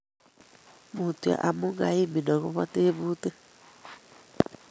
Mutyo amu kaimin ago tebutik